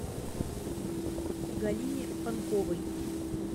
галине панковой